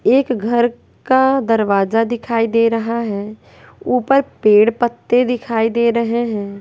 एक घर का दरवाजा दिखाई दे रहा है ऊपर पेड़ पत्ते दिखाई दे रहे है।